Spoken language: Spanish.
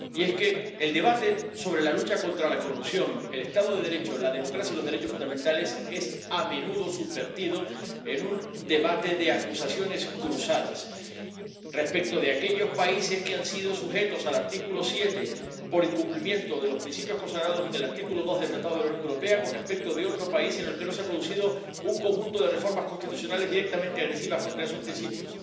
Y es que el debate sobre la lucha contra la corrupción, el Estado de Derecho, la democracia y los derechos fundamentales es a menudo subvertido en un debate de acusaciones cruzadas entre aquellos países que han sido sujetos al artículo 7 por incumplimiento de los principios consagrados en el artículo 2 del Tratado de la Unión Europea y otro país en el que no se ha producido un conjunto de reformas constitucionales directamente agresivas contra esos principios.